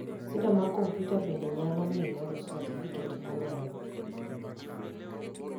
sida mag komputa bende nyalo miyo loso satifiket mar oleo